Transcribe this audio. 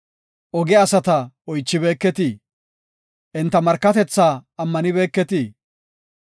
Oge asata oychibeeketii? Enta markatethaa ammanibeketii?